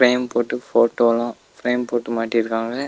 Frame போட்டு photo லா frame போட்டு மாட்டிருக்காங்க.